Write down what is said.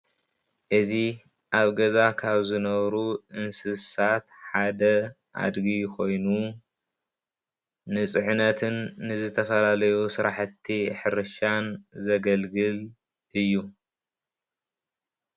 እዚ ኣብ ገዛ ካብ ዝነብሩ እንስሳ ሓደ ኣድጊ ኮይኑ ንፅዕነትን ንዝተፈላለዩ ስራሕቲ ሕርሻን ዘገልግል እዩ።